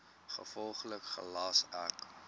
gevolglik gelas ek